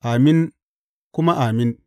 Amin kuma Amin.